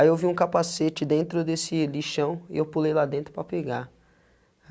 Aí eu vi um capacete dentro desse lixão e eu pulei lá dentro para pegar.